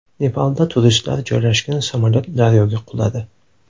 Nepalda turistlar joylashgan samolyot daryoga quladi.